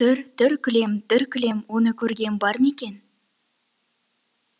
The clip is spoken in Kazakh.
түр түр кілем түр кілем оны көрген бар ма екен